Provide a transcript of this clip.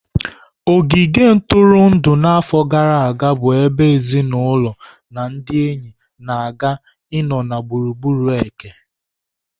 Ogige ntụrụndụ na afọ gara aga bu ebe ezinụlọ na ndị enyi na-aga ịnọ na gburugburu eke.